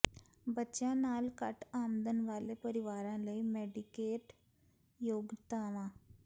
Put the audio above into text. ਬੱਚਿਆਂ ਨਾਲ ਘੱਟ ਆਮਦਨ ਵਾਲੇ ਪਰਿਵਾਰਾਂ ਲਈ ਮੈਡੀਕੇਡ ਯੋਗਤਾਵਾਂ